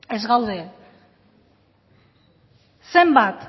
ez gaude zenbat